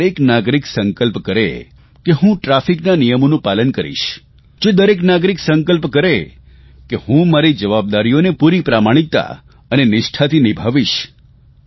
જો દરેક નાગરિક સંકલ્પ કરે કે હું ટ્રાફિકના નિયમોનું પાલન કરીશ જો દરેક નાગરિક સંકલ્પ કરે કે હું મારી જવાબદારીઓને પૂરી પ્રમાણિકતા અને નિષ્ઠાથી નિભાવીશ